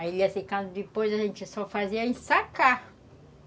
Aí ia ficando, depois a gente só fazia em ensacar